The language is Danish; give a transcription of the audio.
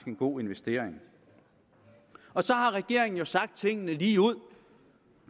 en god investering regeringen så sagt tingene ligeud